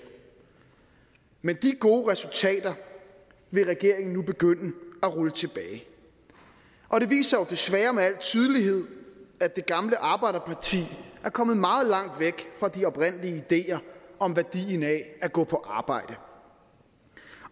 men de gode resultater vil regeringen nu begynde at rulle tilbage og det viser jo desværre med al tydelighed at det gamle arbejderparti er kommet meget langt væk fra de oprindelige ideer om værdien af at gå på arbejde